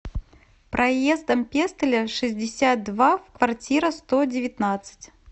проездом пестеля шестьдесят два в квартира сто девятнадцать